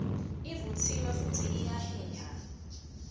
ivutsiwe futsi iyaheha